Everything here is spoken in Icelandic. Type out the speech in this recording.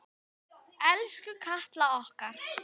Elsku Katla okkar.